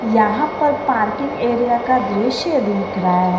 यहां पर parking area का दृश्य दिख रहा है।